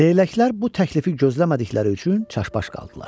Leyləklər bu təklifi gözləmədikləri üçün çaşbaş qaldılar.